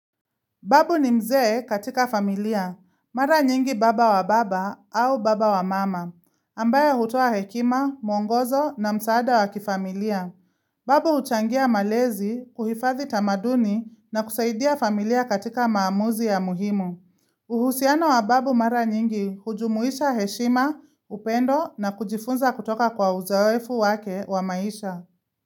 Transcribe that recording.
Babu ni mzee katika familia, mara nyingi baba wa baba au baba wa mama, ambaye hutoa hekima, mwongozo na msaada wa kifamilia. Babu huchangia malezi, kuhifadhi tamaduni na kusaidia familia katika maamuzi ya muhimu. Uhusiano wa babu mara nyingi hujumuisha heshima, upendo na kujifunza kutoka kwa uzoefu wake wa maisha.